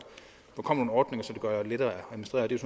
kommer nogle ordninger som gør det lettere